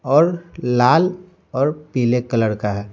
और लाल और पीले कलर का है।